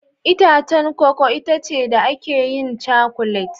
Itacen koko itace da ake yin cakulet